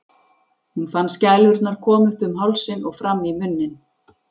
Hún fann skælurnar koma upp um hálsinn og fram í munninn.